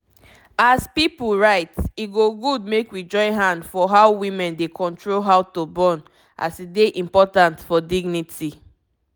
as pipu right e go good make we join hand for how women dey control how to born as e dy important for dignity